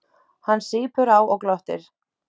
Hann sýpur á og glottir.